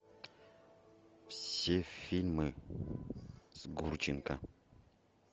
все фильмы с гурченко